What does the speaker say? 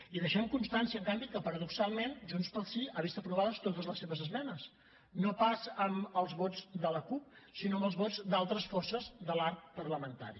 i deixem constància en canvi que paradoxalment junts pel sí ha vist aprovades totes les seves esmenes no pas amb els vots de la cup sinó amb els vots d’altres forces de l’arc parlamentari